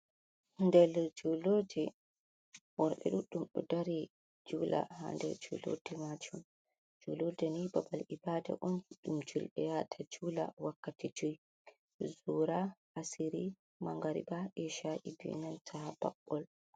Nder julurde worɓe ɗuɗɗum ɗo dari juula ha nder julurde majum, julurde ni babal ibada on ɗum julɓe yaata juula wakkati jui, zura, asiri, mangariba, esha'i be nanta baɓɓol.